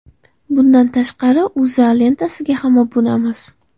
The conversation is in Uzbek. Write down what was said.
Bundan tashqari, O‘zA lentasiga ham obunamiz.